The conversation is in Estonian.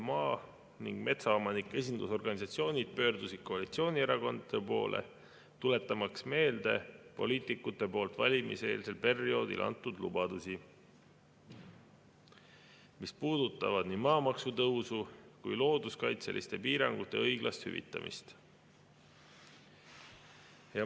Maa‑ ja metsaomanike esindusorganisatsioonid pöördusid koalitsioonierakondade poole, tuletamaks meelde poliitikute poolt valimiseelsel perioodil antud lubadusi, mis puudutavad nii maamaksu tõusu kui looduskaitseliste piirangute õiglast hüvitamist.